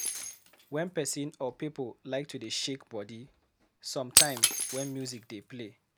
Wen person or pipo like to dey shake body, sometime when music dey play